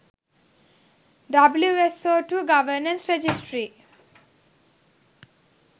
wso2 governance registry